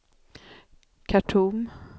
Khartoum